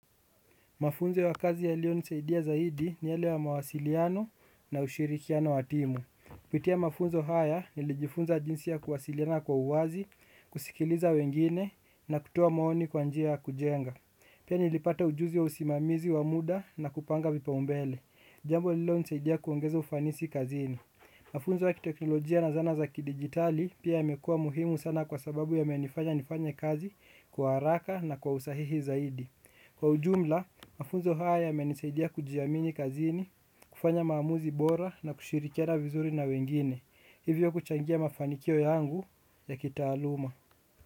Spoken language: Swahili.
Mafunzo ya kazi yaliyonisaidia zaidi ni yale ya mawasiliano na ushirikiano wa timu. Kupitia mafunzo haya nilijifunza jinsi ya kuwasiliana kwa uwazi, kusikiliza wengine na kutoa maoni kwa njia ya kujenga. Pia nilipata ujuzi wa usimamizi wa muda na kupanga vipaumbele. Jambo lililonisaidia kuongeza ufanisi kazini. Mafunzo ya kiteknolojia na zana za kidijitali pia yamekuwa muhimu sana kwa sababu yamenifanya nifanye kazi kwa haraka na kwa usahihi zaidi. Kwa ujumla, mafunzo haya yamenisaidia kujiamini kazini, kufanya maamuzi bora na kushirikiana vizuri na wengine, hivyo kuchangia mafanikio yangu ya kitaaluma.